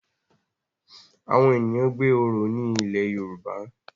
Awọn ènìyàn gbé oro ní ilẹ Yoruba